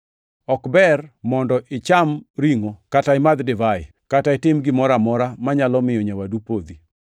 Ok ber mondo icham ringʼo kata imadh divai, kata itim gimoro amora manyalo miyo nyawadu podhi.